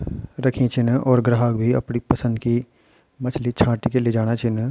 रखीं छिन और ग्राहक भी अपड़ी पसंद की मछली छांट के लेजाणा छिन ।